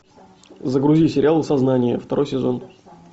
загрузи сериал сознание второй сезон